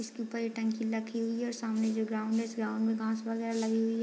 इसके ऊपर एक टंकी रखी हुई है और सामने जो ग्राउंड है इस ग्राउंड मे घास वगेरा लगी हुई है ।